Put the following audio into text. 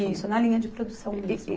Isso, na linha de produção mesmo.